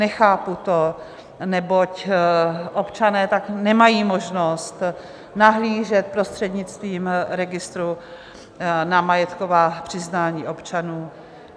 Nechápu to, neboť občané tak nemají možnost nahlížet prostřednictvím registru na majetková přiznání občanů.